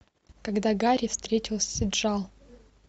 когда гарри встретился с джо